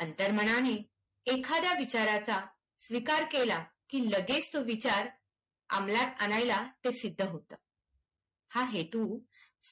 अंतर्मनाने एखाद्या विचाराचा स्वीकार केला की लगेच तो विचार अंमलात आणायला ते सिद्ध होतं. हा हेतू